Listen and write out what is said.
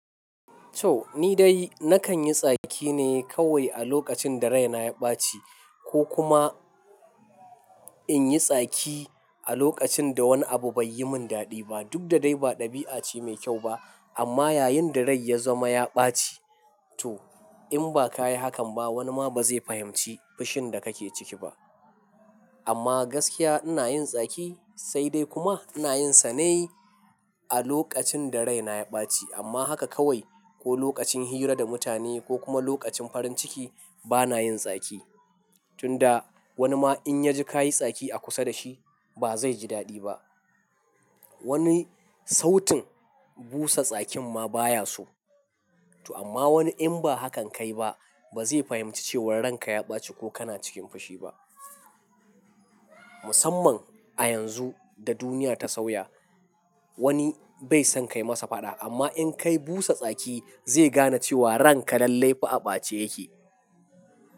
To ni dai nakan yi tsaki ne kawai a lokacin da rai na ya ɓaci ko kuma in yi tsaki a lokacin da wani abu bai yi min daɗi ba. Duk da dai ba ɗabi'a ce mai kyau ba amma yayin da rai ya zama ya ɓaci. To in ba ka yi hakan ba wani ma ba zai fahimci fushin da kake ciki ba. Amma gaskiya ina yin tsaki sai dai kuma ina yin sane a lokacin da rai na ya ɓaci amma haka kawai ko lokacin hira da mutane ko kuma lokacin farin ciki bana yin tsaki. Tun da wani ma in ya ji ka yi tsaki a kusa da shi ba zai ji daɗi ba. Wani sautin busa tsakin ma baya so. To amma wani in ba hakan ka yi ba ba zai fahimci cewa ran ka ya ɓaci ko kana cikin fushi ba. Musamman a yanzu da duniya ta sauya wani bai son ka yi masa faɗa amma in ka yi busa tsaki zai gane cewa ran ka lallai fa a ɓace yake.